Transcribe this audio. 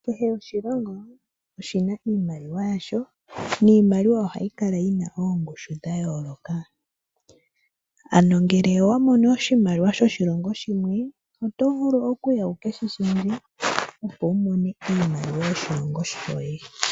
Kehe oshilongo oshina iimaliwa yasho niimaliwa ohayi kala yi na oongushu dha yooloka. Ano ngele owa mono oshimaliwa shoshilongo shimwe, oto vulu okuya wu keshi lundulule opo wu mone iimaliwa yoshilongo shoye.